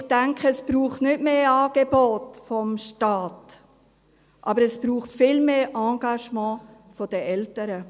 Ich denke aber, es braucht nicht mehr Angebote des Staates, sondern es braucht viel mehr Engagement der Eltern.